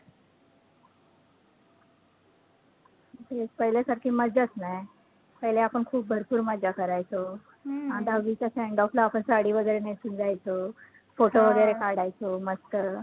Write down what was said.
पहिल्या सारखीचं मजाचं नाही. पहिले आपण खूप भरपूर मज्जा करायचो. दहावीच्या sendoff ला आपण साडी वैगरे नेसून जायचो, photo वैगरे काढायचो मस्त